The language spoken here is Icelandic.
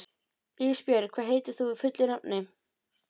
Ísbjörg, hvað heitir þú fullu nafni?